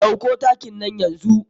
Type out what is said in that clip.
Ɗauko takin nan yanzu.